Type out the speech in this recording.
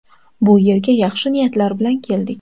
Bu yerga yaxshi niyatlar bilan keldik.